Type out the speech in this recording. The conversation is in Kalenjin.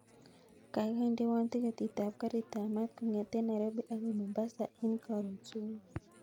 Kaikai indewon tiketit ab garit ab maat kongeten nairobi akoi mombasa en korun subui